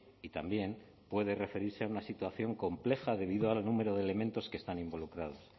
y también puede referirse a una situación compleja debido al número de elementos que están involucrados